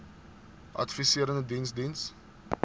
adviserende diens diens